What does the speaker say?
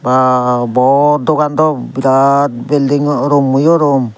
aa bod dogan daw birat beldingo rummoyo rum.